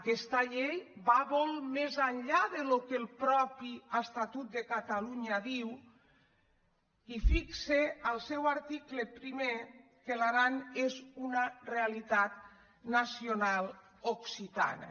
aques·ta llei va molt més enllà del que el mateix estatut de catalunya diu i fixa en el seu article primer que l’aran és una realitat nacional occitana